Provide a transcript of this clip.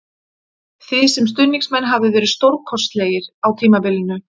Þið sem stuðningsmenn hafið verið stórkostlegir á tímabilinu